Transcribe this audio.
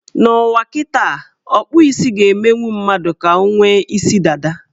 N' ụwa kịtaa, ọkpụ isi ga-emenwu mmadụ ka o nwee isi dada.